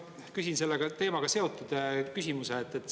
Ma küsin selle teemaga seotud küsimuse.